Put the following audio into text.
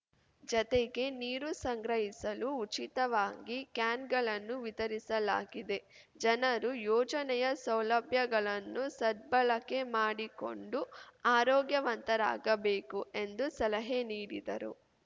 ಜತೆಗೆ ನೀರು ಸಂಗ್ರಹಿಸಲು ಉಚಿತವಾಗಿ ಕ್ಯಾನ್‌ಗಳನ್ನು ವಿತರಿಸಲಾಗಿದೆ ಜನರು ಯೋಜನೆಯ ಸೌಲಭ್ಯಗಳನ್ನು ಸದ್ಭಳಕೆ ಮಾಡಿಕೊಂಡು ಆರೋಗ್ಯವಂತರಾಗಬೇಕು ಎಂದು ಸಲಹೆ ನಿಡಿದರು